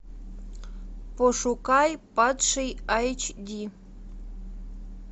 пошукай падший айч ди